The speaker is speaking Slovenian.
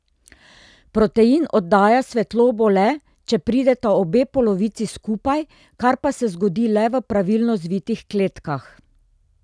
Protein oddaja svetlobo le, če prideta obe polovici skupaj, kar pa se zgodi le v pravilno zvitih kletkah.